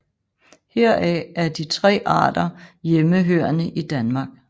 Heraf er de tre arter hjemmehørende i Danmark